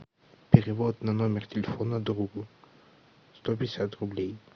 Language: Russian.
перевод на номер телефона другу сто пятьдесят рублей